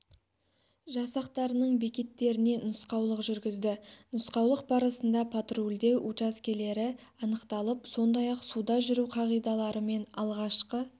жасақтарының бекеттеріне нұсқаулық жүргізді нұсқаулық барысында патрульдеу учаскелері анықталып сондай-ақ суда жүру қағидалары мен алғашқы